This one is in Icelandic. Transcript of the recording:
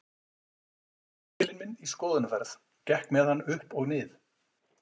Ég tók riffilinn minn í skoðunarferð, gekk með hann upp og nið